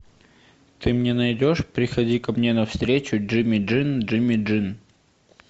ты мне найдешь приходи ко мне на встречу джимми дин джимми дин